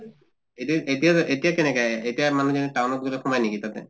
এতিয়া এতিয়া এতিয়া কেনেকা এতিয়া মানুহ খিনি town ত গʼলে সোমায় নেকি তাতে?